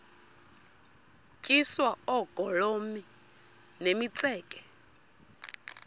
tyiswa oogolomi nemitseke